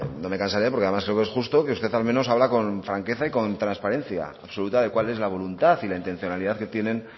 no me cansaré porque además creo que es justo que usted al menos habla con franqueza y con transparencia absoluta de cuál es la voluntad y la intencionalidad que tienen